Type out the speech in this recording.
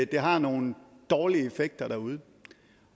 det har nogen dårlige effekter derude